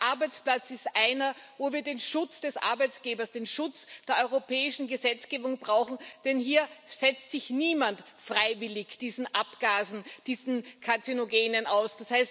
Aber der Arbeitsplatz ist einer, wo wir den Schutz des Arbeitgebers, den Schutz der europäischen Gesetzgebung brauchen, denn hier setzt sich niemand freiwillig diesen Abgasen, diesen Karzinogenen aus.